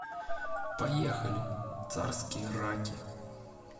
поехали царские раки